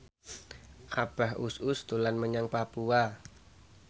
Abah Us Us dolan menyang Papua